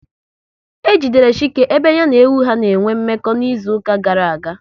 E jidere Chike ebe ya na ewu ha n'enwe mmekọ n'izuka gara aga